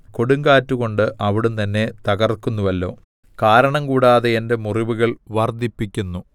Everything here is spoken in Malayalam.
കൊടുങ്കാറ്റുകൊണ്ട് അവിടുന്ന് എന്നെ തകർക്കുന്നുവല്ലോ കാരണംകൂടാതെ എന്റെ മുറിവുകൾ വർദ്ധിപ്പിക്കുന്നു